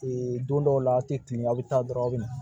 don dɔw la a tɛ tunun a bɛ taa dɔrɔn aw bɛ na